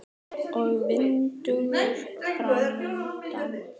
Og vinnudagur framundan.